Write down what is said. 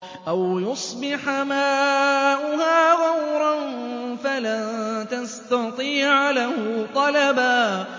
أَوْ يُصْبِحَ مَاؤُهَا غَوْرًا فَلَن تَسْتَطِيعَ لَهُ طَلَبًا